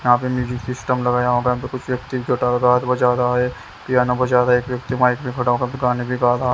यहाँ पे music system लगाया होगा कुछ व्यक्ति बजा रहा है पियानो बजा रहा है एक व्यक्ति माइक में खड़ा हो कर गाने भी गा रहा।